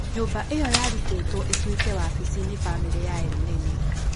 Nyũmba ĩyo yarutĩtwo ĩtuĩke wabici nĩ bamĩrĩ ya Elneny